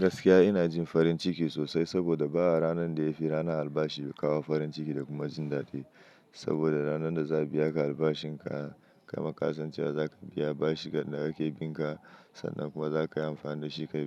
Gaskiya ina jin farin ciki sosai saboda ba ranar da ya fi rana albashi ya kawo farin ciki da kuma jin daɗi. Saboda ranar da za a biya ka albashin ka, kai ma kasancewa za ka biya bashi gadon da aka yi bin ka. Sannan kuma za ka yi amfani da shi ka